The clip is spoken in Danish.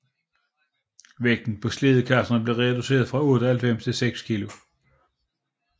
Vægten på slædekasserne blev reducerede fra 98 til 6 kg